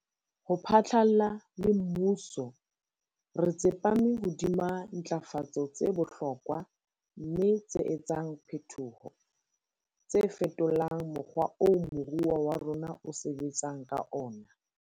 Ho phatlalla le mmuso, re tsepame hodima ntlafatso tse bohlokwa mme tse etsang phetoho, tse fetolang mokgwa oo moruo wa rona o sebetsang ka ona.